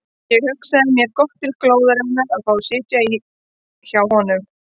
Ég hugsaði mér gott til glóðarinnar að fá að sitja í hjá honum.